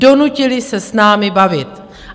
Donutili se s námi bavit.